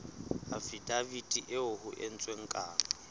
afidaviti eo ho entsweng kano